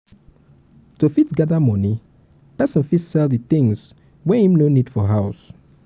to fit gather money person fit sell di things wey im no need for house